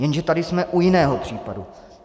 Jenže tady jsme u jiného případu.